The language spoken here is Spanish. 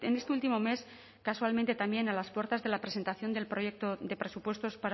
este último mes casualmente también a las puertas de la presentación del proyecto de presupuestos